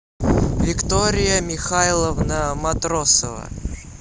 виктория михайловна матросова